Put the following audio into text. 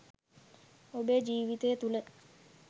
ඔබේ ජීවිතය තුළ